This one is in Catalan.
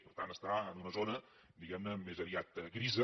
per tant està en una zona diguem ne més aviat grisa